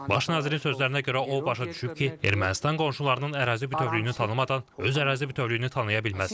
Baş nazirin sözlərinə görə o başa düşüb ki, Ermənistan qonşularının ərazi bütövlüyünü tanımadan öz ərazi bütövlüyünü tanıya bilməz.